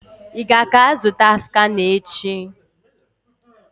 Ị ga ka-azụta skana echi?